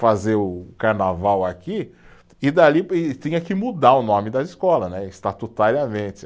fazer o carnaval aqui, e dali e tinha que mudar o nome da escola né, estatutariamente.